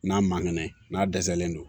N'a man kɛnɛ n'a dɛsɛlen don